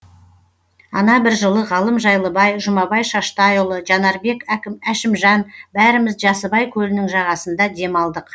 ана бір жылы ғалым жайлыбай жұмабай шаштайұлы жанарбек әшімжан бәріміз жасыбай көлінің жағасында демалдық